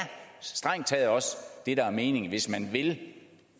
strengt taget også det der er meningen hvis man vil